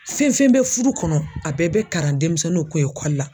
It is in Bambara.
Fɛn fɛn bɛ fudu kɔnɔ a bɛɛ bɛ karan denmisɛnninw kun la.